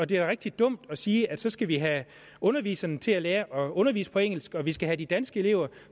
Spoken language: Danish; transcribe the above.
da rigtig dumt at sige at så skal vi have underviserne til at lære at undervise på engelsk og at vi skal have de danske elever